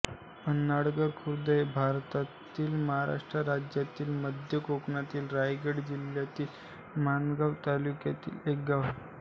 पन्हाळघर खुर्द हे भारतातील महाराष्ट्र राज्यातील मध्य कोकणातील रायगड जिल्ह्यातील माणगाव तालुक्यातील एक गाव आहे